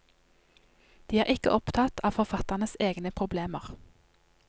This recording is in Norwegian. De er ikke opptatt av forfatternes egne problemer.